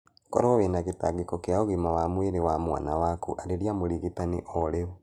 Koro wĩna gĩtangĩko kĩa ũgima wa mwĩrĩ wa mwana waku arĩria mũrigitani orĩu.